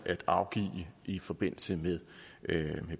at afgive i forbindelse med